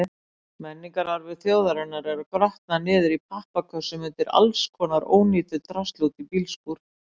Menningararfur þjóðarinnar að grotna niður í pappakössum undir allskonar ónýtu drasli úti í bílskúr!